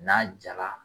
N'a jara